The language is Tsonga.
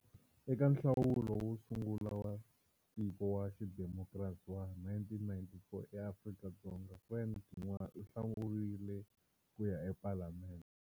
Eka nhlawulo wo sungula wa tiko wa xidimokrasi wa 1994 eAfrika-Dzonga, Frene Ginwala u hlawuriwe ku ya ePalamende.